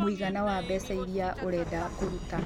mũigana wa mbeca iria ũrenda kũruta.